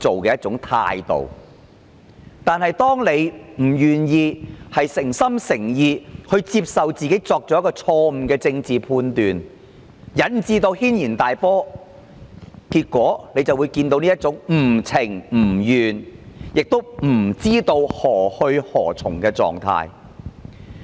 可是，當她不願意誠心誠意承認她作出了錯誤的政治判斷而引致軒然大波，結果就會看到現時這種不情不願亦不知何去何從的狀態。